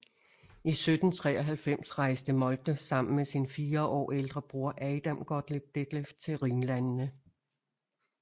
I 1793 rejste Moltke sammen med sin fire år ældre bror Adam Gottlob Detlef til Rhinlandene